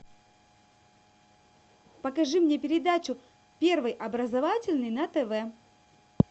покажи мне передачу первый образовательный на тв